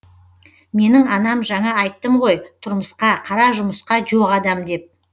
менің анам жаңа айттым ғой тұрмысқа қара жұмысқа жоқ адам деп